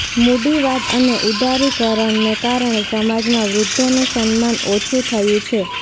મૂડીવાદ અને ઉદારીકરણને કારણે સમાજમાં વૃદ્ધોનું સન્માન ઓછું થયું છે